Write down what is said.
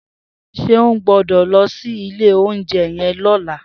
Seun gbõdõ lõsí ìlé ounjé yen lõlá